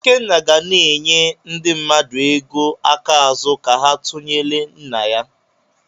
Ikenna ga na-enye ndị mmadụ ego aka ázú ka ha tụnyelụ nna ya.